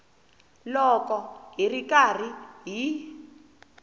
loko hi ri karhi hi